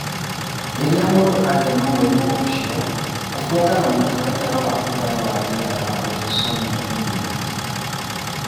Rĩrĩa mũndũ agĩa na mũrimũ ũcio, ũbuataga mũtaratara wa kũgaya na njĩra ya autosomal dominant.